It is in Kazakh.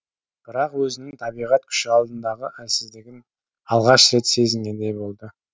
бірақ өзінің табиғат күші алдындағы әлсіздігін алғаш рет сезінгендей болды